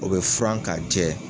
O be furan ka jɛ